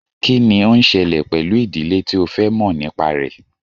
Kí ni ó ń ṣẹlẹ̀ pẹ̀lú ìdílé tí o fẹ́ mọ̀ nípa rẹ̀?